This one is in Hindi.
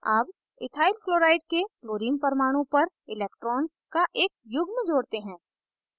add इथाइल chlorine के chlorine परमाणु पर electrons का एक युग्म जोड़ते हैं